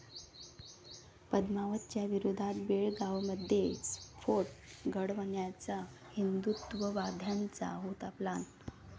पद्मावत'च्या विरोधात बेळगावमध्ये स्फोट घडवण्याचा हिंदुत्ववाद्यांचा होता प्लॅन!